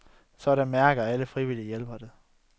Sådan mærkede alle frivillige hjælpere det.